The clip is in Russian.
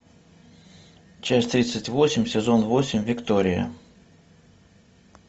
часть тридцать восемь сезон восемь виктория